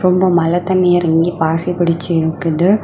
ரொம்ப மழை தண்ணி எறங்கி பாசி புடிச்சிருக்குது.